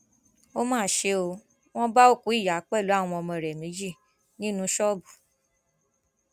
ó mà ṣe ó wọn bá òkú ìyá pẹlú àwọn ọmọ rẹ méjì nínú ṣọọbù